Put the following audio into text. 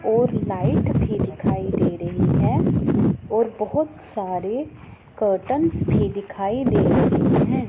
और लाइट भी दिखाई दे रही है और बहोत सारे कर्टन भी दिखाई दे रहे हैं।